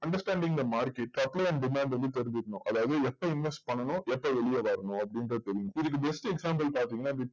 understanding the market demand வந்து தெரிஞ்சிக்கணும் அதாவது எப்போ invest பண்ணனும் எப்போ வெளிய வரணும் அப்டின்னு தெரியனும் இதுக்கு best example பாத்திங்கனா